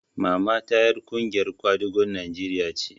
Mamata ƴar ƙungiyar kwadagon Najeriya ce